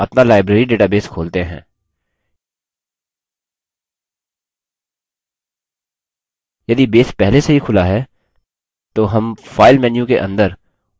यदि base पहले से ही खुला है तो हम file menu के अंदर open पर क्लिक करके library database खोल सकते हैं